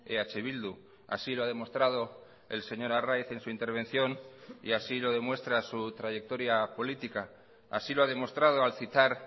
eh bildu así lo ha demostrado el señor arraiz en su intervención y así lo demuestra su trayectoria política así lo ha demostrado al citar